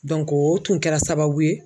o tun kɛra sababu ye